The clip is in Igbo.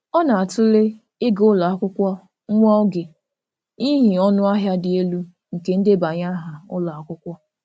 Ọ na-atụle ịga ụlọ akwụkwọ nwa oge n'ihi ọnụ ahịa dị elu nke ndebanye aha ụlọ akwụkwọ.